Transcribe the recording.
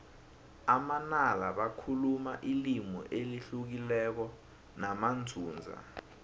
amanala bakhuluma ilimi elihlukileko namanzunza